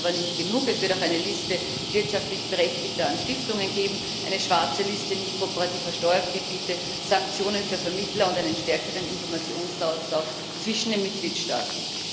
Damit aber nicht genug Es wird auch eine Liste wirtschaftlich Berechtigter an Stiftungen geben, eine schwarze Liste nicht kooperativer Steuergebiete, Sanktionen für Vermittler und einen stärkeren Informationsaustausch zwischen den Mitgliedstaaten.